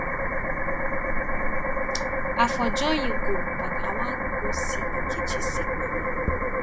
i for join you go but i wan go see nkechi sick mama